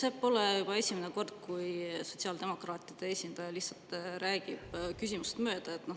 See pole esimene kord, kui sotsiaaldemokraatide esindaja räägib lihtsalt küsimusest mööda.